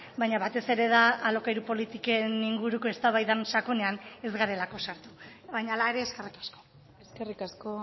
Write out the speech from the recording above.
baina batez ere da alokairu politiken inguruko eztabaidan sakonean ez garelako sartu baina hala ere eskerrik asko eskerrik asko